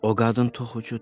O qadın toxucudur.